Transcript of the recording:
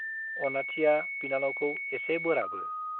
अनाथिया बिनानावखौ एसे बोराबो ।